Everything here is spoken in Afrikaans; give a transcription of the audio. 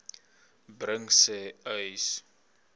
bring sê uys